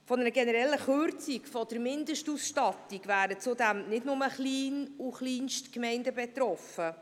Von einer generellen Kürzung der Mindestausstattung wären zudem nicht nur Klein- und Kleinstgemeinden betroffen.